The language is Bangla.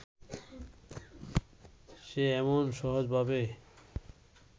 সে এমন সহজভাবে